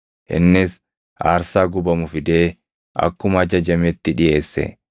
Innis aarsaa gubamu fidee akkuma ajajametti dhiʼeesse.